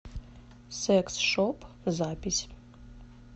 секс шоп запись